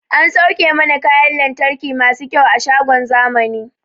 An sauke mana kayan lantarki masu kyau a shagon zamani